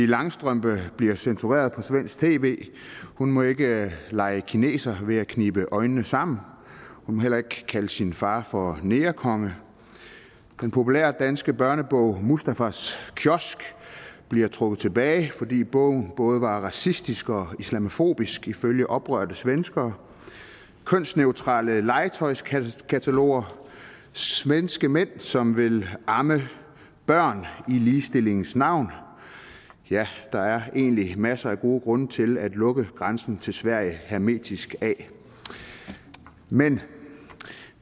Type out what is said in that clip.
langstrømpe bliver censureret på svensk tv hun må ikke lege kineser ved at knibe øjnene sammen og hun må heller ikke kalde sin far for negerkonge den populære danske børnebog mustafas kiosk blev trukket tilbage fordi bogen både var racistisk og islamofobisk ifølge oprørte svenskere kønsneutrale legetøjskataloger svenske mænd som vil amme børn i ligestillingens navn ja der er egentlig masser af gode grunde til at lukke grænsen til sverige hermetisk af men